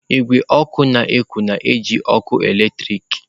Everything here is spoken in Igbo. Igwe ọkụ n'uko na-eji ọkụ eletrik.